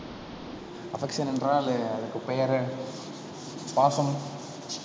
affection என்றால், அதுக்கு பெயரு பாசம்